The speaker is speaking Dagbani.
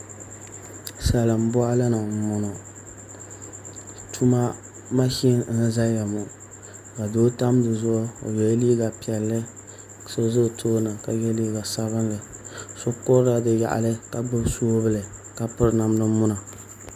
Salin boɣali ni n boŋo tuma mashin n boŋo ka doo tam dizuɣu o yɛla liiga piɛlli ka so ʒɛ o tooni ka yɛ liiga sabinli so kurila di yaɣali ka gbubi soobuli ka piri namda muna